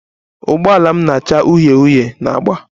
Ụgbọala m na-acha uhie uhie na agba